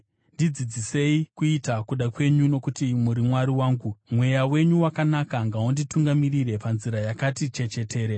Ndidzidzisei kuita kuda kwenyu, nokuti muri Mwari wangu; mweya wenyu wakanaka ngaunditungamirire panzira yakati chechetere.